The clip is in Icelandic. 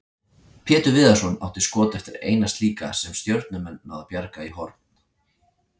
Pétur Viðarsson átti skot eftir eina slíka sem Stjörnumenn náðu að bjarga í horn.